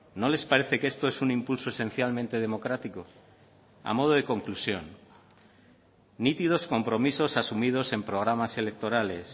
no les parece que esto es un impulso esencialmente democrático a modo de conclusión nítidos compromisos asumidos en programas electorales